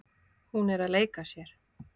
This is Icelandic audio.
Hún er að leika sér.